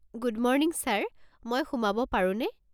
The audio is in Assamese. গুড মৰ্নিং ছাৰ, মই সোমাব পাৰোনে?